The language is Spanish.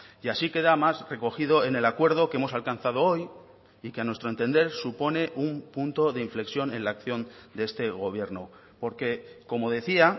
y así queda más recogido en el acuerdo que hemos alcanzado hoy y que a nuestro entender supone un punto de inflexión en la acción de este gobierno porque como decía